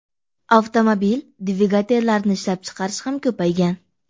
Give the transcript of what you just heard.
Avtomobil dvigatellarini ishlab chiqarish ham ko‘paygan.